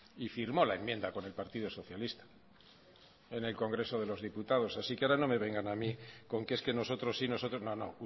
y firmó la enmienda con el partido socialista en el congreso de los diputados así que ahora no me vengan a mí con que es que nosotros sí nosotros no no